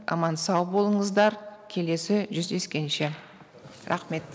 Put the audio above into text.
аман сау болыңыздар келесі жүздескенше рахмет